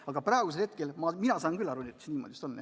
Aga praegu saan mina küll aru nii, et see niimoodi vist on, jah.